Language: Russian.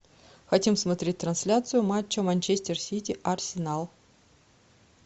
хотим смотреть трансляцию матча манчестер сити арсенал